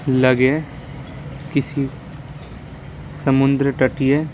लगे किसी समुंद्र टटिए --